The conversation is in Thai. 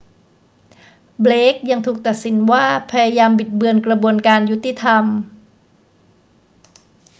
เบลกยังถูกตัดสินว่าพยายามบิดเบือนกระบวนการยุติธรรม